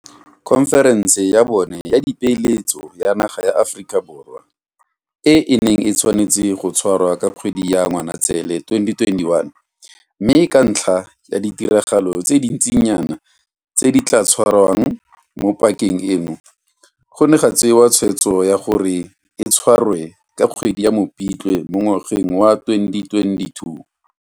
Khonferense ya bone ya Dipeeletso ya naga ya Aforika Borwa e ne e tshwanetse go tshwarwa ka kgwedi ya Ngwanaitseele 2021, mme ka ntlha ya ditiragalo tse dintsinyana tse di tla tshwarwang mo pakeng eno, go ne ga tsewa tshweetso ya gore e tshwarwe ka kgwedi ya Mopitlwe mo ngwageng wa 2022.